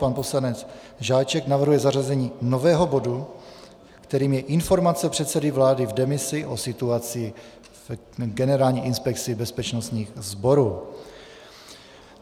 Pan poslanec Žáček navrhuje zařazení nového bodu, kterým je informace předsedy vlády v demisi o situaci v Generální inspekci bezpečnostních sborů.